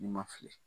N'i ma fili